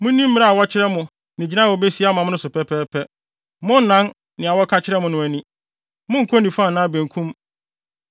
Munni mmara a wɔkyerɛ mo ne gyinae a wobesi ama mo no so pɛpɛɛpɛ. Monnnan nea wɔka kyerɛ mo no ani. Monnkɔ nifa anaa benkum.